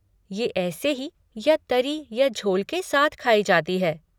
ये ऐसे ही या तरी या झोल के साथ खाई जाती है।